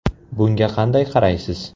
Bunga qanday qaraysiz?